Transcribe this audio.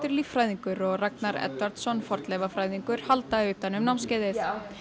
líffræðingur og Ragnar fornleifafræðingur halda utan um námskeiðið